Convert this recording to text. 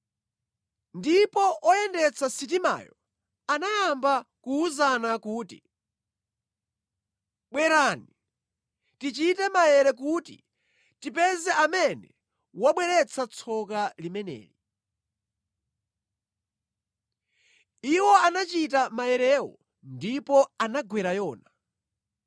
Ndipo oyendetsa sitimayo anayamba kuwuzana kuti, “Bwerani, tichite maere kuti tipeze amene wabweretsa tsoka limeneli.” Iwo anachita maerewo ndipo anagwera Yona.